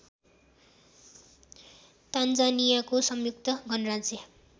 तान्जानियाको संयुक्त गणराज्य